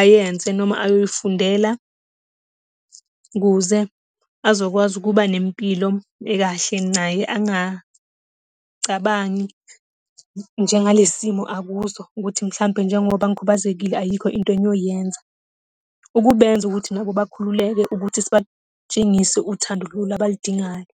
ayenze, noma ayoyifundela. Ukuze azokwazi ukuba nempilo ekahle naye, angacabangi njengalesi simo akuso, ukuthi mhlampe njengoba ngikhubazekile ayikho into engiyoyenza. Ukubenza ukuthi nabo bakhululeke ukuthi sibatshengise uthando lolu abaludingayo.